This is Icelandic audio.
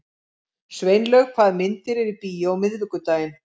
Sveinlaug, hvaða myndir eru í bíó á miðvikudaginn?